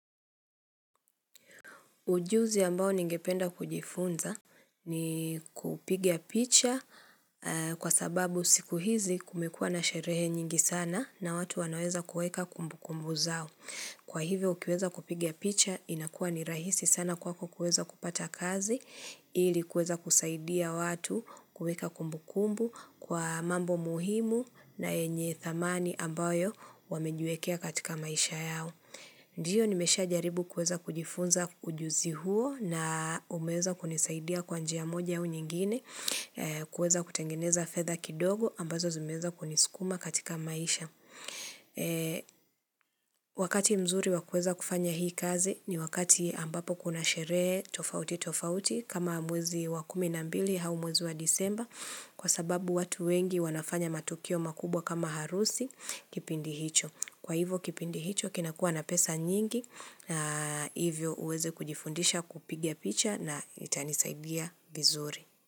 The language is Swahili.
Ujuzi ambao ningependa kujifunza, ni kupiga picha, a kwa sababu siku hizi kumekua na sherehe nyingi sana na watu wanaweza kuweka kumbukumbu zao. Kwa hivyo ukiweza kupiga picha inakua ni rahisi sana kwako kuweza kupata kazi, ili kuweza kusaidia watu kuweka kumbukumbu kwa mambo muhimu na yenye thamani ambayo wamejiwekea katika maisha yao. Ndiyo nimesha jaribu kuweza kujifunza ujuzi huo na umeeza kunisaidia kwa njia moja au nyingine, e kuweza kutengeneza fedha kidogo ambazo zimeeza kunisukuma katika maisha. Wakati mzuri wa kuweza kufanya hii kazi ni wakati ambapo kuna sherehe tofauti tofauti kama mwezi wa kumi na mbili hau mwezi wa Disemba, kwa sababu watu wengi wanafanya matukio makubwa kama harusi, kipindi hicho. Kwa hivo kipindi hicho kinakuwa na pesa nyingi na hivyo uweze kujifundisha kupiga picha na itanisaidia vizuri.